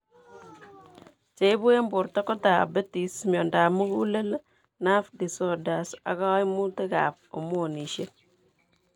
Cheibu eng' borto koo diabetes, miondab mugulel, nerve disoders ak kaimutk ab hormonisiek